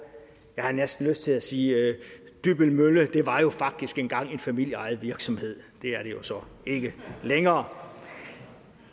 jeg har næsten lyst til at sige dybbøl mølle det var jo faktisk engang en familieejet virksomhed det er det jo så ikke længere